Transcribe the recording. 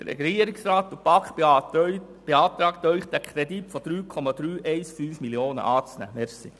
Der Regierungsrat und die BaK beantragen Ihnen, den Kredit über 3,315 Mio. Franken anzunehmen.